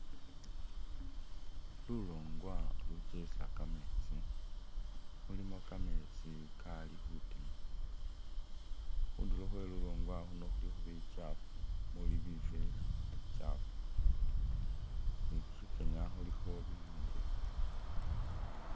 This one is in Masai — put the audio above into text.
Lulwongwa lucheza kametsi mulimo kametsi Kali khutima khundulo khwe lulwongwa luuno khulikho bichafu muli binvela bichafu ni khusichenya khulikho bibyombekhe